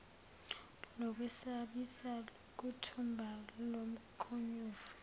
lokwesabisa lokuthumba lomkhonyovu